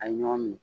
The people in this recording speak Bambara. A ye ɲɔgɔn minɛ